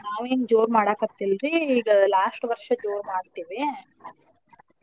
ನಾವ್ ಏನ್ ಜೋರ್ ಮಾಡಾಕತ್ತಿಲ್ರೀ ಈಗ last ವರ್ಷ್ ಜೋರ್ ಮಾಡ್ತೇವಿ .